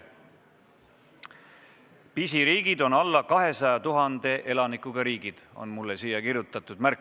Pisiriigid on alla 200 000 elanikuga riigid, on siia mulle märkuseks kirjutatud.